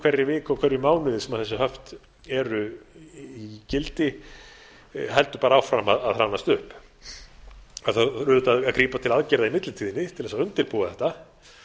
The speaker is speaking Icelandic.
hverri viku og hverjum mánuði sem þessi höft eru í gildir heldur bara áfram að hrannast upp það þarf auðvitað að grípa til aðgerða í millitíðinni til að undirbúa þetta